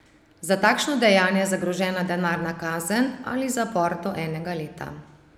Za takšno dejanje je zagrožena denarna kazen ali zapor do enega leta.